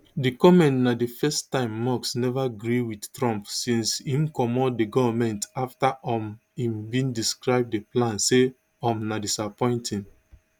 di comment na di first time musk neva gree wit trump since im comot di goment afta um im bin describe di plan say um na disappointing